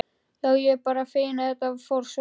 Já, ég er bara feginn að þetta fór svona.